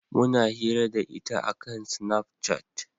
Muna hira da ita a kan snafcat